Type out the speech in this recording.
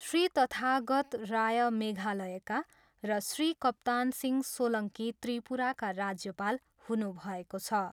श्री तथागत राय मेघालयका र श्री कप्तान सिहं सोलङ्की त्रिपुराका राज्यपाल हुनुभएको छ।